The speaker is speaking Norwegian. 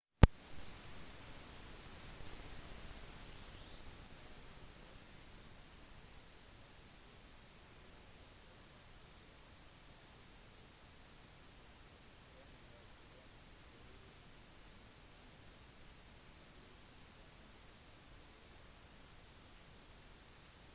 disse monsterstormene har vinder opp mot 480 km/t 133 m/s; 300 amerikanske mil i timen